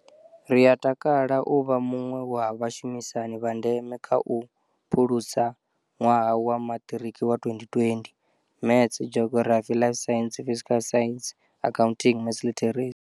Ri a takala u vha muṅwe wa vhashumisani vha ndeme kha u phulusa ṅwaha wa Maṱiriki wa 2020. Maths, Geography, Life sciences, Physical sciences, Accounting, Maths literacy.